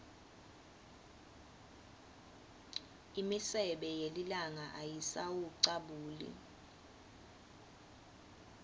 imisebe yelilanga ayisawucabuli